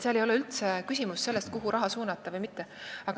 Seal ei ole üldse küsimus selles, kuhu raha suunata või mitte.